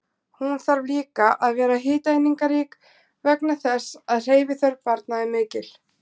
Hún þarf líka að vera hitaeiningarík vegna þess að hreyfiþörf barna er mikil.